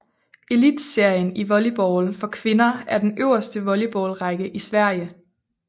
Elitserien i volleyball for kvinder er den øverste volleyballrække i Sverige